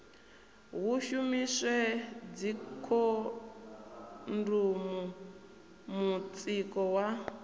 hu shumiswe dzikhondomu mutsiko wa